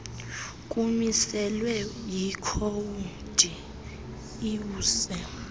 kumiselwe yikhowudi iwuse